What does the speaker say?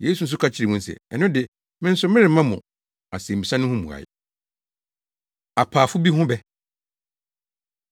Yesu nso ka kyerɛɛ wɔn se, “Ɛno de, me nso meremma mo mo asɛmmisa no ho mmuae.” Apaafo Bi Ho Bɛ